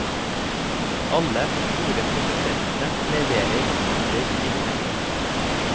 Alle de store produsentene leverer sykler i denne klassen.